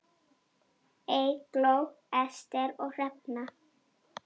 Eygló, Ester og Hrefna.